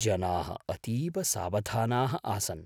जनाः अतीव सावधानाः आसन्।